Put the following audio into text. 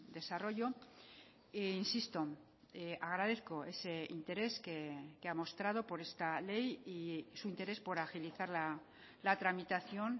desarrollo e insisto agradezco ese interés que ha mostrado por esta ley y su interés por agilizar la tramitación